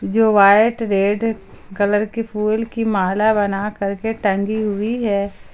जो white red colour की फूल की माला बना कर के टंगी हुई है।